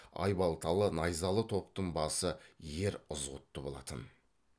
айбалталы найзалы топтың басы ер ызғұтты болатын